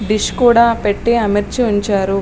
Dish కూడా పెట్టి ఆమర్చి ఉంచారు.